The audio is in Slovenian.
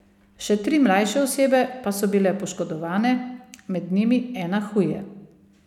Še tri mlajše osebe pa so bile poškodovane, med njimi ena huje.